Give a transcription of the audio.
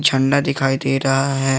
अंडा दिखाई दे रहा है।